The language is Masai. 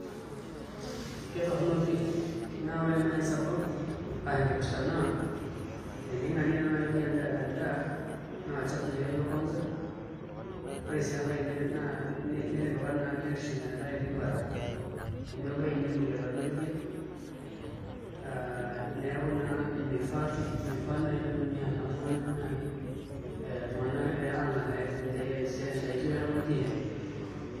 Ketorrono pi. Na ore nai sababu ah enkipirta naa, ening'arie naa nai oldia endaa, naa olchafu nye ilo kwanza, ore si enkae naa netipika naa biotisho metaa etii bata. Amu ebaiki nemoi aladuo dia, ah neeku naa mifaa pi. Mifaa naa pitumia naa oltung'ani nai eh iltung'anak ang'ar idaiki oldiein.